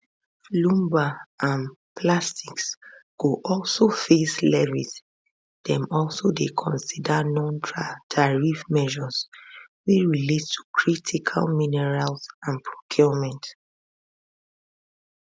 lumber and plastics go also face levies dem also dey consider nontariff measures wey relate to critical minerals and procurement